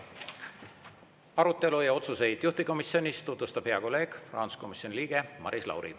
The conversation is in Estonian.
Arutelu ja otsuseid juhtivkomisjonis tutvustab hea kolleeg, rahanduskomisjoni liige Maris Lauri.